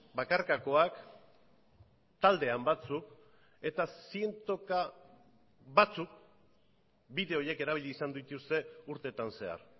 bakarkakoak taldean batzuk eta zientoka batzuk bide horiek erabili izan dituzte urteetan zehar